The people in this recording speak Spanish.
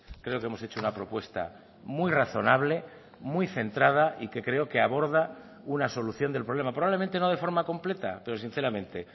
creo que hemos hecho una propuesta muy razonable muy centrada y que creo que aborda una solución del problema probablemente no de forma completa pero sinceramente